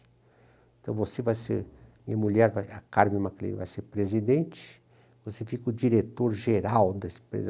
Então você vai ser, minha mulher, a Carmen MacLean, vai ser presidente, você fica o diretor geral dessa empresa.